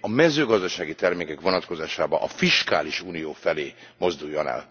a mezőgazdasági termékek vonatkozásában a fiskális unió felé mozduljon el?